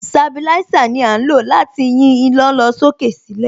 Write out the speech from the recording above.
Sabilísà ni à ń lò láti yín iná lọ sókè sílẹ̀.